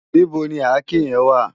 Nibó ni àké yèn wá?